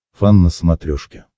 фан на смотрешке